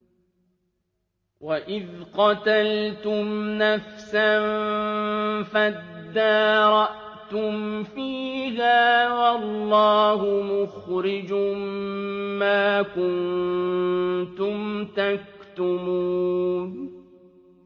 وَإِذْ قَتَلْتُمْ نَفْسًا فَادَّارَأْتُمْ فِيهَا ۖ وَاللَّهُ مُخْرِجٌ مَّا كُنتُمْ تَكْتُمُونَ